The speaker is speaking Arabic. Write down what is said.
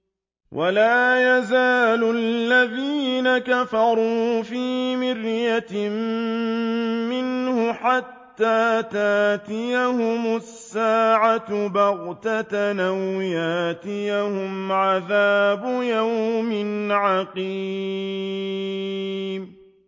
وَلَا يَزَالُ الَّذِينَ كَفَرُوا فِي مِرْيَةٍ مِّنْهُ حَتَّىٰ تَأْتِيَهُمُ السَّاعَةُ بَغْتَةً أَوْ يَأْتِيَهُمْ عَذَابُ يَوْمٍ عَقِيمٍ